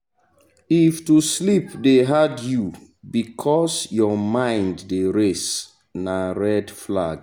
if to sleep dey hard you because your mind dey race na red flag.